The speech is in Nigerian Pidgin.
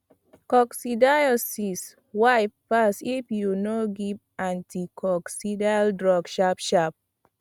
coccidiosis wipe fast if you no give anticoccidial drug sharpsharp